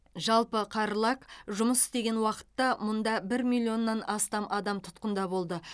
жалпы қарлаг жұмыс істеген уақытта мұнда бір миллионнан астам адам тұтқында болды